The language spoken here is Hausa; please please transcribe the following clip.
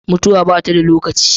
Mutuwa ba ta da lokaci.